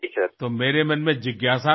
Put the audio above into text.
तर माझ्या मनात याबाबत उत्सुकता होती